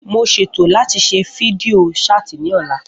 Mo ṣètò láti ṣe fídíò ṣáàtì ní ọ̀la